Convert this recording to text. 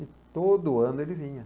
E todo ano ele vinha.